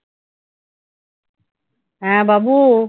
হ্যাঁ, বাবু।